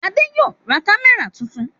Adé yóò ra kámẹ́rà tuntun.